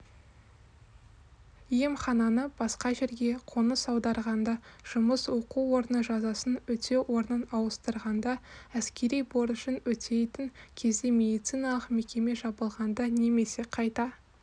емхананы басқа жерге қоныс аударғанда жұмыс оқу орны жазасын өтеу орнын ауыстырғанда әскери борышын өтейтін кезде медициналық мекеме жабылғанда немесе қайта